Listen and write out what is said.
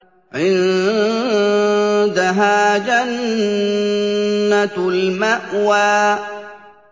عِندَهَا جَنَّةُ الْمَأْوَىٰ